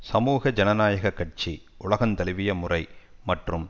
சமூக ஜனநாயக கட்சி உலகந்தழுவிய முறை மற்றும்